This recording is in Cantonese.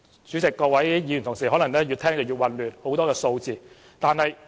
主席，各位議員同事可能越聽越混亂，有很多數字。